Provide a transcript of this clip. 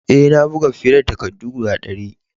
Eh, na buga fiye da takaddu guda dari.